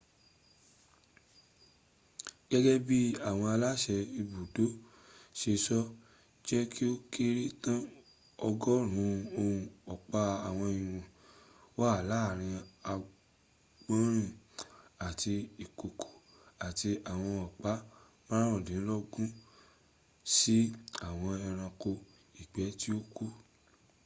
gẹ́gẹ́ bí àwọn aláṣẹ ibùdó ṣe sọ jẹ́ kí ó kéré tán ọgọ́rùn ún ọ̀pa ìwọ̀n wà láàárín àgbọ̀nrin àti ìkokò àti ìwọ̀n ọ̀pá márùndínlógún sí àwọn ẹranko ìgbẹ́ tí ó kù